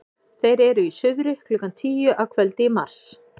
þeir eru í suðri klukkan tíu að kvöldi í mars